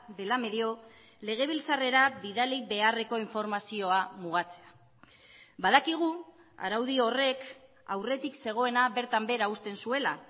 dela medio legebiltzarrera bidali beharreko informazioa mugatzea badakigu araudi horrek aurretik zegoena bertan behera uzten zuela